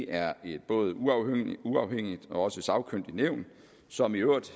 er et både uafhængigt og sagkyndigt nævn som i øvrigt